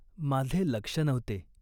माझे लक्ष नव्हते.